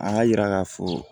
An ka yira k'a fɔ